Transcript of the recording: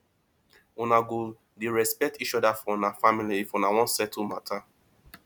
una go dey respect each oda for una family if una wan settle mata